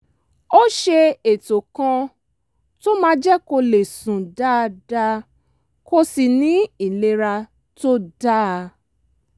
ó ṣe ètò kan tó máa jẹ́ kó lè sùn dáadáa kó sì ní ìlera tó dáa